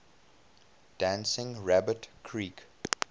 dancing rabbit creek